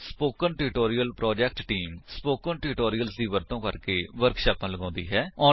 spoken tutorial project team spoken tutorials ਦਾ ਵਰਤੋ ਕਰਕੇ ਵਰਕਸ਼ਾਪਾਂ ਲਗਾਉਂਦੀ ਹੈ